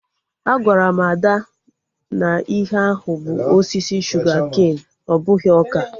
Agwara m Ada na ihe ahụ bụ osisi shuga-ken, ọ bụghị ọka